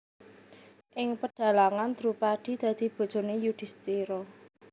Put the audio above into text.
Ing pedhalangan Drupadi dadi bojone Yudhistira